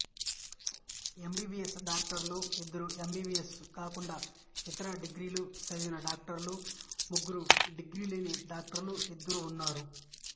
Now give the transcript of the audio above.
MBBS డాక్టర్లు ఇద్దరు MBBS కాకుండా ఇతర డిగ్రీలు చదివిన డాక్టర్లు ముగ్గురు డిగ్రీ లేని డాక్టర్లు ఇద్దరు ఉన్నారు